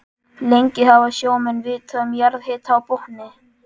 Lengi hafa sjómenn vitað um jarðhita á botni